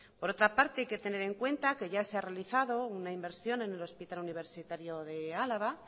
por otra parte hay que tener en cuenta que ya se ha realizado una inversión en el hospital universitario de álava